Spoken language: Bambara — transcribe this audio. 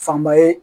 Fanba ye